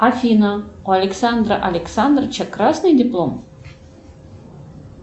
афина у александра александровича красный диплом